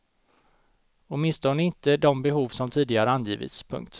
Åtminstone inte de behov som tidigare angivits. punkt